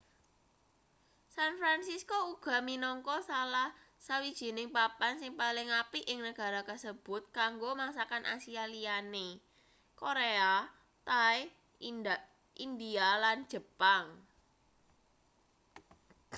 san francisco uga minangka salah sawijining papan sing paling apik ing negara kasebut kanggo masakan asia liyane korea thai india lan jepang